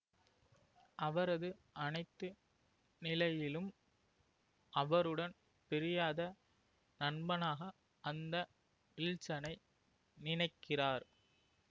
அவரது அனைத்து நிலையிலும் அவருடன் பிரியாத நண்பனாக அந்த வில்சனை நினைக்கிறார்